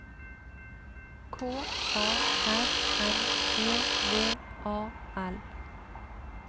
K A R N E V A L